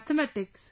Mathematics